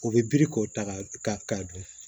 U bɛ biri k'o ta ka dun